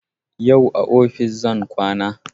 Yau a ofis zan kwana